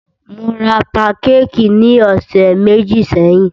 Mó rá pankékì ní ọ̀sẹ̀ méjì sẹ́yìn.